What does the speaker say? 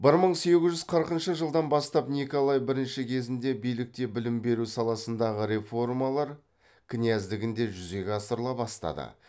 бір мың сегіз жүз қырқыншы жылдан бастап николай бірінші кезінде билікте білім беру саласындағы реформалар князьдігінде жүзеге асырыла бастады